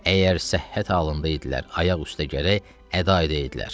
Əgər səhhət halında idilər, ayaq üstə gərək əda eləyəydilər.